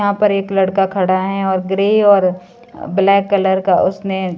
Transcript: यहां पर एक लड़का खड़ा है और ग्रे और ब्लैक कलर का उसने--